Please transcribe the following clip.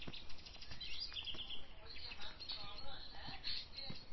ஆஹ் okay ma'am problem இல்ல இது